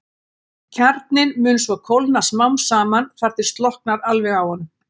Kjarninn mun svo kólna smám saman þar til slokknar alveg á honum.